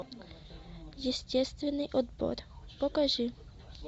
естественный отбор покажи